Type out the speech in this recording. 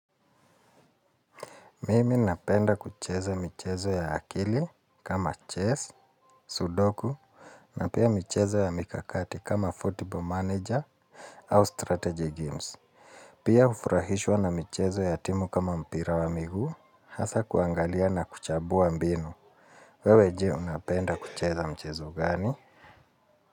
Mimi napenda kucheza michezo ya akili kama chess, sudoku na pia michezo ya mikakati kama football manager au strategy games. Pia hufurahishwa na michezo ya timu kama mpira wa miguu, hasa kuangalia na kuchabua mbinu. Wewe je unapenda kucheza mchezo gani?